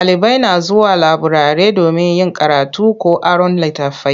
Ɗalibai na zuwa laburare domin yin karatu ko aron litattafai.